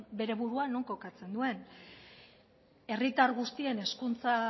bere burua non kokatzen duen herritar guztien hezkuntza